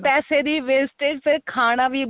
ਪੈਸੇ ਦੀ wastageਫੇਰ ਖਾਣਾ ਵੀ